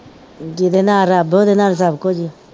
ਜਿਦੇ ਨਾਲ ਰੱਬ ਓਹਦੇ ਨਾਲ ਸਬ ਕੁਜ